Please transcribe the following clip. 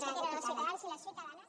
que tenen els ciutadans i les ciutadanes